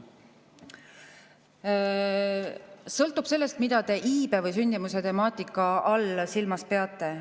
Sõltub sellest, mida te iibe või sündimuse temaatika all silmas peate.